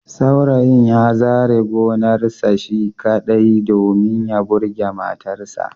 Saurayin ya zare gonarsa shi kaɗai, domin ya burge matarsa